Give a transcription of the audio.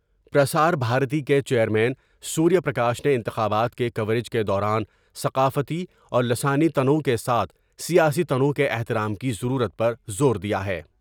پر سار بھارتی کے chairman Surya Prakash نے انتخابات کے کوریج کے دوران ثقافتی اور لسانی تنوع کے ساتھ سیاسی تنوع کے احترام کی ضرورت پر زور دیا ہے ۔